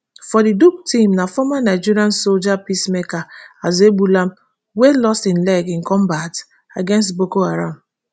for di duke team na former nigerian soldier peacemaker azuegbulam wey lost im leg in combat against boko haram